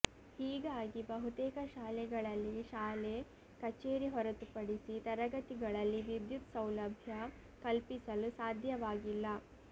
ಹೀಗಾಗಿ ಬಹುತೇಕ ಶಾಲೆಗಳಲ್ಲಿ ಶಾಲೆ ಕಚೇರಿ ಹೊರತು ಪಡಿಸಿ ತರಗತಿಗಳಲ್ಲಿ ವಿದ್ಯುತ್ ಸೌಲಭ್ಯ ಕಲ್ಪಿಸಲು ಸಾಧ್ಯವಾಗಿಲ್ಲ